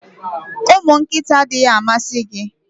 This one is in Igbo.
Ụmụ nkịta adịghị amasị gị?